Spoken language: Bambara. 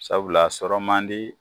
Sabul'a sɔrɔ man di